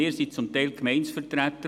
Wir sind zum Teil Gemeindevertreter.